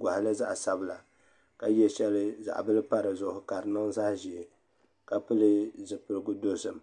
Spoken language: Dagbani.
goɣali zaɣ sabila ka yɛ shɛli zaɣ bili pa dizuɣu ka di niŋ zaɣ ʒiɛ ka pili zipiligu dozim